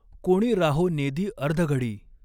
कोणी राहों नेदी अर्धघडी।